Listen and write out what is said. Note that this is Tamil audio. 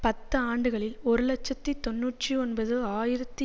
பத்து ஆண்டுகளில் ஒரு இலட்சத்தி தொன்னூற்றி ஒன்பது ஆயிரத்தி